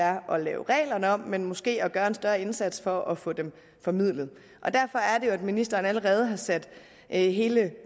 er at lave reglerne om men måske at gøre en større indsats for at få dem formidlet derfor er det jo at ministeren allerede har sat hele